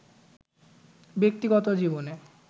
ব্যক্তিগত জীবনে